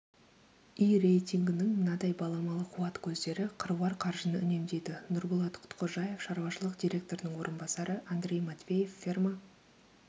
і-рейтингінің мынадай баламалы қуат көздері қыруар қаржыны үнемдейді нұрболат құтқожаев шаруашылық директорының орынбасары андрей матвеев ферма